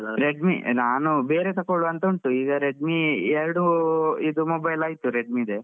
Redme ನಾನು ಬೇರೆ ತಕೋಬೇಕಂತ ಉಂಟು ಈಗ Redmi ಎರಡು mobile ಆಯ್ತು Redmi ದೆ.